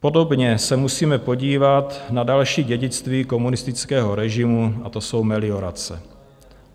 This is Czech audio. Podobně se musíme podívat na další dědictví komunistického režimu a to jsou meliorace.